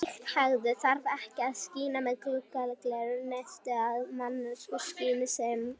En slíka hegðun þyrfti ekki að skýra með guðlegum neista eða mannlegri skynsemi.